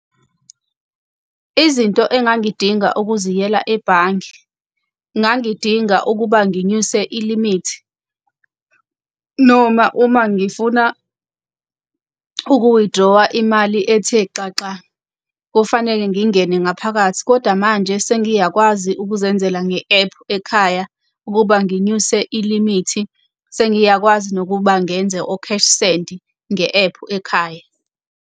Izinto engangidinga ukuziyela ebhange, ngangidinga ukuba nginyuse ilimithi. Noma uma ngifuna uku-withdraw-a imali ethe xaxa, kufanele ngingene ngaphakathi. Kodwa manje sengiyakwazi ukuzenzela nge-ephu ekhaya, ukuba nginyuse ilimithi sengiyakwazi nokuba ngenze o-cash sendi nge-ephu ekhaya.